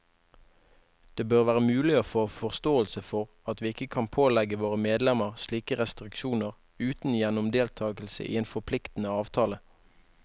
Det bør være mulig å få forståelse for at vi ikke kan pålegge våre medlemmer slike restriksjoner uten gjennom deltagelse i en forpliktende avtale.